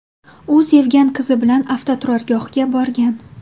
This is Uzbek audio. U sevgan qizi bilan avtoturargohga borgan.